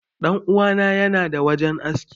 Dan uwa na yana da wajen aski.